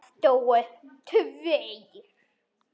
Það dóu tveir.